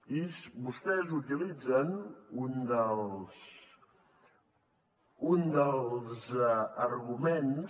i vostès utilitzen un dels arguments